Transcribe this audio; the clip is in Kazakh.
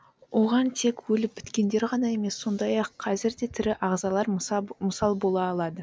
оған тек өліп біткендер ғана емес сондай ақ қазір де тірі ағзалар мысал бола алады